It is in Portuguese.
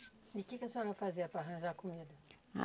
E o que que a senhora fazia para arranjar comida? Ah